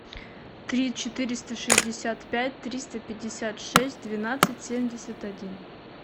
три четыреста шестьдесят пять триста пятьдесят шесть двенадцать семьдесят один